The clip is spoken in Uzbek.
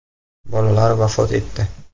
Bolalar vafot etdi.